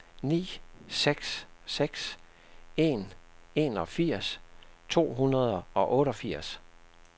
ni seks seks en enogfirs to hundrede og otteogfirs